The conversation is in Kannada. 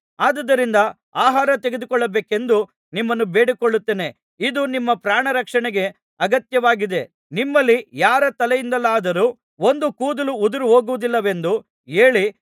ಅದುದರಿಂದ ಆಹಾರ ತೆಗೆದುಕೊಳ್ಳಬೇಕೆಂದು ನಿಮ್ಮನ್ನು ಬೇಡಿಕೊಳ್ಳುತ್ತೇನೆ ಇದು ನಿಮ್ಮ ಪ್ರಾಣರಕ್ಷಣೆಗೆ ಅಗತ್ಯವಾಗಿದೆ ನಿಮ್ಮಲ್ಲಿ ಯಾರ ತಲೆಯಿಂದಲಾದರೂ ಒಂದು ಕೂದಲೂ ಉದುರಿಹೋಗುವುದಿಲ್ಲವೆಂದು ಹೇಳಿ